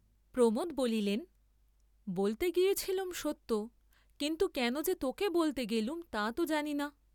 প্রমোদ বলিলেন, বলতে গিয়েছিলুম সত্য, কিন্তু কেন যে তোকে বলতে গেলুম তা তো জানি না।